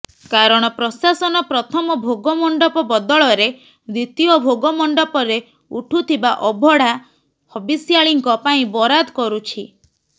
କାରଣ ପ୍ରଶାସନ ପ୍ରଥମ ଭୋଗମଣ୍ଡପ ବଦଳରେ ଦ୍ବିତୀୟ ଭୋଗ ମଣ୍ଡପରେ ଉଠୁଥିବା ଅବଢ଼ା ହବିଷ୍ୟାଳିଙ୍କ ପାଇଁ ବରାଦ କରୁଛି